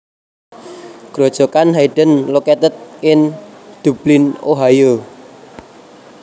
Grojogan Hayden located in Dublin Ohio